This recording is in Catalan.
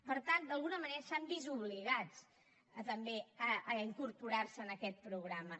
per tant d’alguna manera s’han vist obligats també a incorporar se en aquest programa